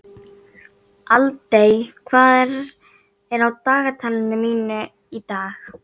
Aldey, hvað er á dagatalinu mínu í dag?